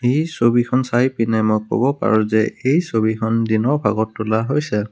এই ছবিখন চাই পিনে মই ক'ব পাৰোঁ যে এই ছবিখন দিনৰ ভাগত তোলা হৈছে।